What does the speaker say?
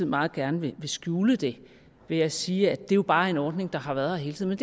meget gerne vil skjule det ved at sige at det jo bare er en ordning der har været her hele tiden